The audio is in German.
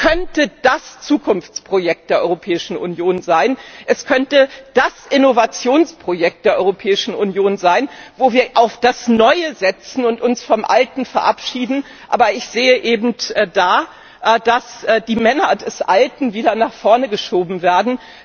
Es könnte das Zukunftsprojekt der Europäischen Union sein! Es könnte das Innovationsprojekt der Europäischen Union sein, wo wir auf das Neue setzen und uns vom Alten verabschieden! Aber ich sehe eben da, dass die Männer des Alten wieder nach vorne geschoben werden.